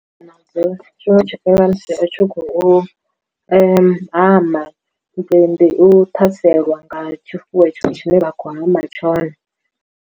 Ndi nadzo tshiṅwe tsha fhelelwa musi u tshi khou hama ndi u ṱhaselwa nga tshifuwo itsho tshine vha khou hama tshone.